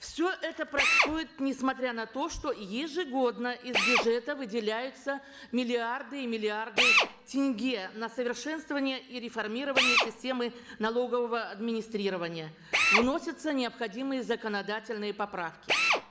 все это происходит несмотря на то что ежегодно из бюджета выделяются миллиарды и миллиарды тенге на совершенствование и реформирование системы налогового администрирования вносятся необходимые законодательные поправки